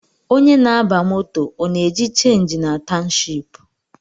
Onye na-aba moto ọ na-eji chenji na townshipu?